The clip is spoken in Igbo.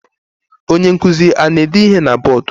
Onye nkuzi ana-ede ihe na bọdụ?